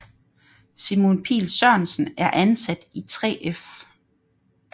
Simon Pihl Sørensen er ansat i 3F